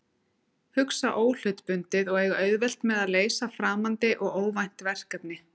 Hugsa óhlutbundið og eiga auðvelt með að leysa framandi og óvænt verkefni.